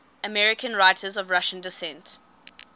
american writers of russian descent